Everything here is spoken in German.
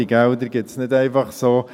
Diese Gelder gibt es nicht einfach so.